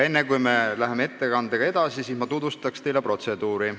Enne, kui me läheme edasi, ma tutvustan teile protseduuri.